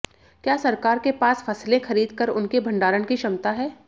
क्या सरकार के पास फसलें खरीद कर उनके भंडारण की क्षमता है